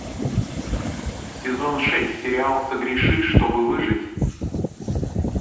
сезон шесть сериал согреши что бы выжить